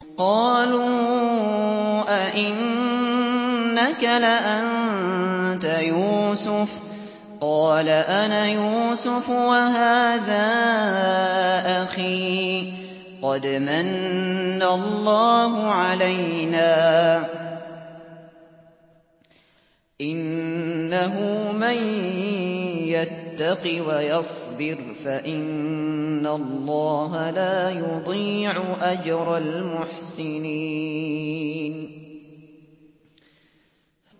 قَالُوا أَإِنَّكَ لَأَنتَ يُوسُفُ ۖ قَالَ أَنَا يُوسُفُ وَهَٰذَا أَخِي ۖ قَدْ مَنَّ اللَّهُ عَلَيْنَا ۖ إِنَّهُ مَن يَتَّقِ وَيَصْبِرْ فَإِنَّ اللَّهَ لَا يُضِيعُ أَجْرَ الْمُحْسِنِينَ